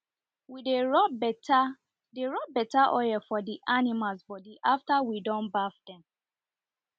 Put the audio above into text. we dey rub better dey rub better oil for the animals body afer we don baff dem